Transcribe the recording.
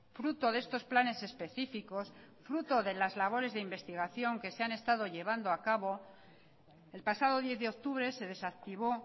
fruto de estos planes específicos fruto de las labores de investigación que se han estado llevando a cabo el pasado diez de octubre se desactivó